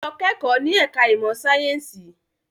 Lọ kẹ́kọ̀ọ́ ní ẹ̀ka ìmọ̀ sáyẹ́ǹsì!